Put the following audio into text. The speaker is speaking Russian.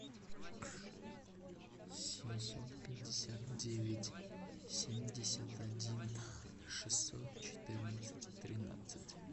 семьсот пятьдесят девять семьдесят один шестьсот четырнадцать тринадцать